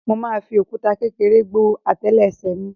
Mo máa fi òkúta kékeré gbó àtélé ẹsẹ̀ mi.